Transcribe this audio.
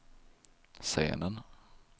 scenen